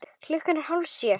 Klukkan er hálf sjö.